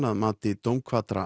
að mati